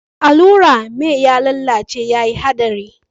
Mai allurar mai ya lalace yayin haɗarin